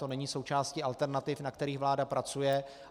To není součástí alternativ, na kterých vláda pracuje.